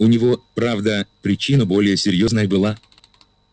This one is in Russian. у него правда причина более серьёзная была